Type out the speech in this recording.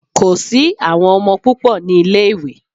Kò sí àwọn ọmọ púpò ní ilé ìwé.